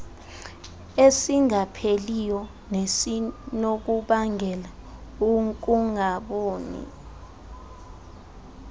esingapheliyo nesinokubangela ukungaboni